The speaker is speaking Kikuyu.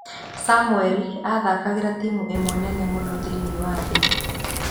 'Samũeli aathakagĩra timũ ĩmwe nene mũno thĩinĩ wa thĩ.